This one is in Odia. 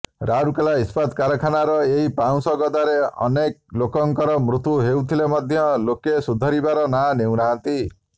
ରାଉରକେଲା ଇସ୍ପାତ କାରଖାନାର ଏହି ପାଉଁଶ ଗଦାରେ ଅନେକଲୋକଙ୍କର ମୃତ୍ୟୁ ହୋଉଥିଲେ ମଧ୍ୟ ଲୋକେ ସୁଧୁରିବାର ନାଁ ନେଉନାହାନ୍ତି